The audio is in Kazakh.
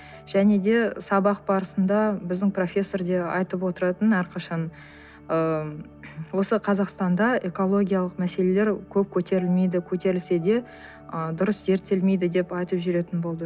және де сабақ барысында біздің профессор да айтып отыратын әрқашан ыыы осы қазақстанда экологиялық мәселелер көп көтерілмейді көтерілсе де ы дұрыс зерттелмейді деп айтып жүретін болды